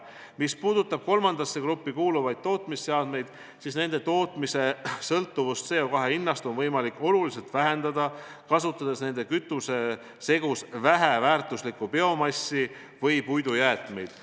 Mis puudutab kolmandasse gruppi kuuluvaid tootmisseadmeid, siis nende kasutuse sõltuvust CO2 hinnast on võimalik oluliselt vähendada, kasutades nende kütusesegus väheväärtuslikku biomassi või puidujäätmeid.